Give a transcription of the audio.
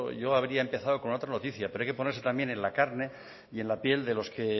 yo habría empezado con otra noticia pero hay que ponerse también en la carne y en la piel de los que